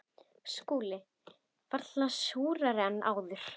SKÚLI: Varla súrari en áður.